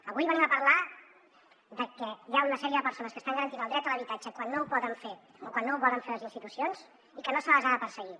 avui venim a parlar de que hi ha una sèrie de persones que estan garantint el dret a l’habitatge quan no ho poden fer o quan no ho volen fer les institucions i que no se les ha de perseguir